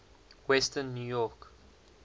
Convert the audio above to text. western new york